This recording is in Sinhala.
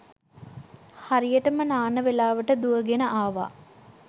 හරියටම නාන වෙලාවට දුවගෙන ආවා